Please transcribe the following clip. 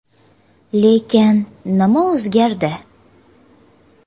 Lekin nima o‘zgardi?